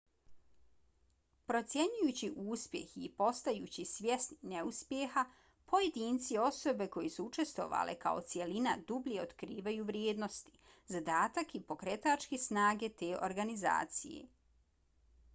procjenjujući uspjeh i postajući svjesni neuspjeha pojedinci i osobe koje su učestvovale kao cjelina dublje otkrivaju vrijednosti zadatak i pokretačke snage te organizacije